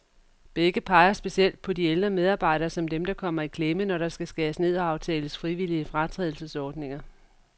Begge peger specielt på de ældre medarbejdere, som dem, der kommer i klemme, når der skal skæres ned og aftales frivillige fratrædelsesordninger.